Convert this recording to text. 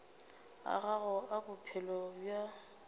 a gago a bophelo bja